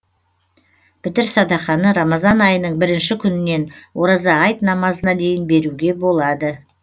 пітір садақаны рамазан айының бірінші күнінен ораза айт намазына дейін беруге болады